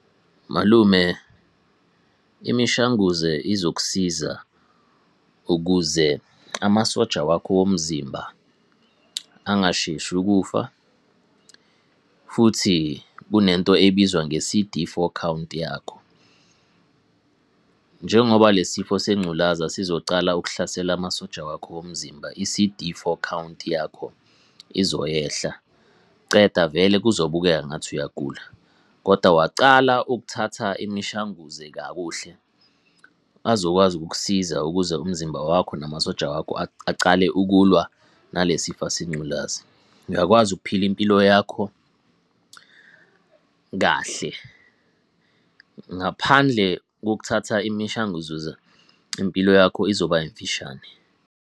Malume, imishanguze izokusiza ukuze amasoja wakho womzimba angasheshi ukufa, futhi kunento ebizwa nge-C_D four count yakho. Njengoba le sifo sengculaza sizocala ukuhlasela amasoja wakho womzimba, i-C_D four count yakho izoyehla, ceda vele kuzobukeka ngathi uyagula. Koda wacala ukuthatha imishanguze kakuhle, bazokwazi ukukusiza ukuze umzimba wakho namasoja wakho acale ukulwa nale sifo sengculazi. Uyakwazi ukuphila impilo yakho kahle. Ngaphandle kokuthatha imishanguzo, impilo yakho izoba mfishane.